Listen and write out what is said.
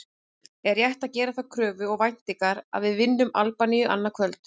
Er rétt að gera þá kröfu og væntingar að við vinnum Albaníu annað kvöld?